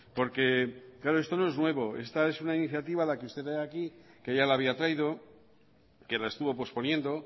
porque claro esto no es nuevo esta es una iniciativa que usted trae aquí que ya la había traído que la estuvo posponiendo